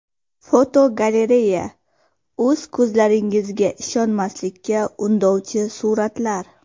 Fotogalereya: O‘z ko‘zlaringizga ishonmaslikka undovchi suratlar.